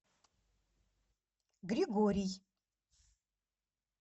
григорий